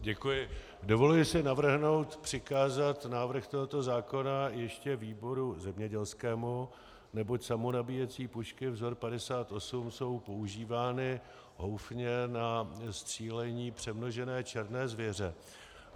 Dovoluji si navrhnout přikázat návrh tohoto zákona ještě výboru zemědělskému, neboť samonabíjecí pušky vzor 58 jsou používány houfně na střílení přemnožené černé zvěře.